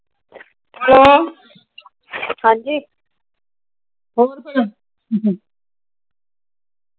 ਹਾਂਜੀ